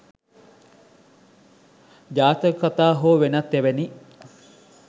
ජාතක කතා හෝ වෙනත් එවැනි